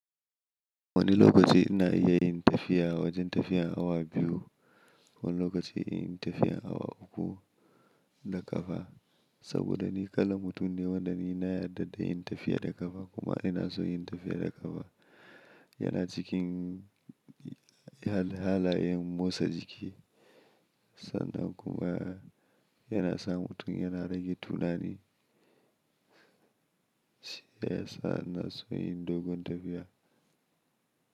Wani lokaci ina iya yin tafiya wajen tafiyar awa biyu wani lokaci inyi tafiyar awa uku da ƙafa saboda ni kallan mutum ne wanda ni na yarda da yin tafiya da ƙafa kuma ina son yin tafiya da ƙafa yana cikin halayen motsa jiki sannan kuma yana sa mutum yana rage tunani. Shi yasa ina son yin dogon tafiya.